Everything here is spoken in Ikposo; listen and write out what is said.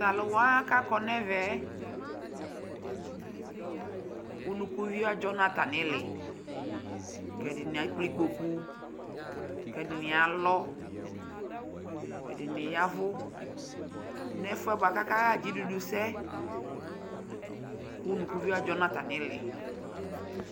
Tʋ alʋ wa kʋ akɔ nʋ ɛvɛ yɛ, unukuvio adzɔ nʋ atamɩ ɩɩlɩ kʋ ɛdɩnɩ a ekple ikpoku, kʋ ɛdɩnɩ alɔ, ɛdɩnɩ ya ɛvʋ nʋ ɛfʋ yɛ bʋa kʋ akaɣa dzidudusɛ kʋ unukuvio adzɔ nʋ atamɩ ɩɩlɩ